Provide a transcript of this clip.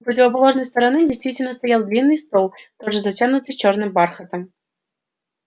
у противоположной стороны действительно стоял длинный стол тоже затянутый чёрным бархатом